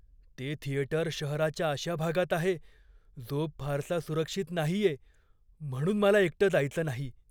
ते थिएटर शहराच्या अशा भागात आहे जो फारसा सुरक्षित नाहीये, म्हणून मला एकटं जायचं नाही.